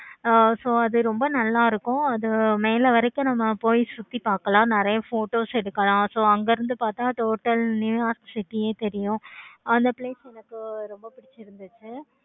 ஆஹ் so அது ரொம்ப நல்லா இருக்கும். அது மேல வரைக்கும் நம்ம போயி சுத்தி பார்க்கலாம். நெறைய photos எடுக்கலாம். so அங்க இருந்து பார்த்த total new york city ஏ தெரியும். அந்த place எனக்கு ரொம்ப பிடிச்சிருந்துச்சி.